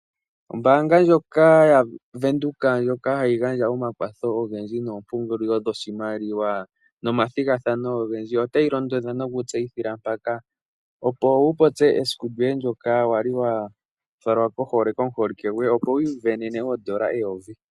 Ombaanga ndjoka ya venduka ndjoka hayi gandja omakwatho ogendji noompungulilo dhoshimaliwa nomathigathano ogendji otayi londodha nokutseyithila mpaka opo wu popye esiku lyoye ndyoka wali wa falwa pohole komuholike gwoye opo wiivenene oondola eyovi.